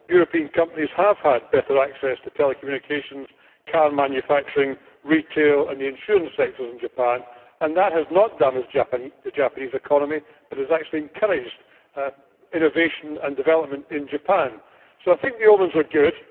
European companies have had improved access to telecommunications, car manufacturing, retail and the insurance sector in Japan, and that has not damaged the Japanese economy but has, in fact, encouraged innovation and development in Japan. So I think the omens are good.